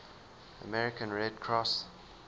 american red cross